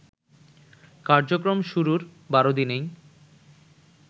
কার্যক্রম শুরুর ১২ দিনেই